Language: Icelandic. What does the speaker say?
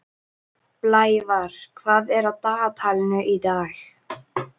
Blævar, hvað er á dagatalinu í dag?